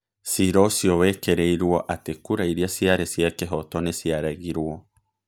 Ciira ũcio wekĩrirũo atĩ kura iria ciarĩ cia kĩhooto nĩ ciaregirũo.